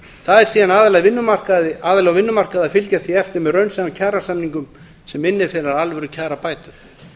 það er síðan aðila á vinnumarkaði að fylgja því eftir með raunsæjum kjarasamningum sem innifela alvöru kjarabætur